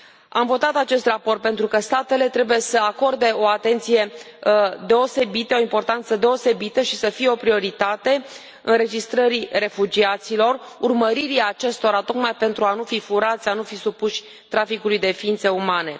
Am votat acest raport pentru că statele trebuie să acorde o atenție deosebită, o importanță deosebită și aceasta să fie o prioritate înregistrării refugiaților, urmăririi acestora, tocmai pentru a nu fi furați, a nu fi supuși traficului de ființe umane.